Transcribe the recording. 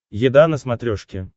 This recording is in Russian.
еда на смотрешке